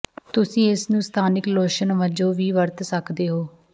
ਤੁਸੀਂ ਇਸ ਨੂੰ ਸਥਾਨਕ ਲੋਸ਼ਨ ਵਜੋਂ ਵੀ ਵਰਤ ਸਕਦੇ ਹੋ